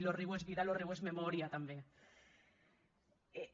lo riu és vida lo riu és memòria tanben